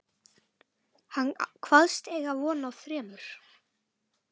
Hann kvaðst eiga von á þremur